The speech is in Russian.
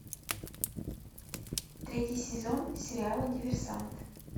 третий сезон сериала диверсант